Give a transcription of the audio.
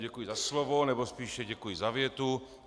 Děkuji za slovo, nebo spíše děkuji za větu.